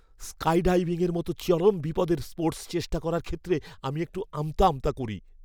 স্কাইডাইভিংয়ের মতো চরম বিপদের স্পোর্টস চেষ্টা করার ক্ষেত্রে আমি একটু আমতা আমতা করি।